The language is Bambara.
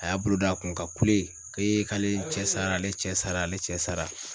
A y'a bolo don a kun ka kule k'e k'ale cɛ sara ale cɛ sara ale cɛ sara.